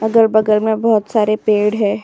अगल-बगल में बहुत सारे पेड़ है।